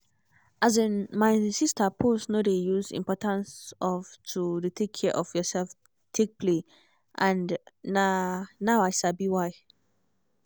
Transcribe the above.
as in my sister pause no dey use importance of to dey take care of yourself take play and na now i sabi why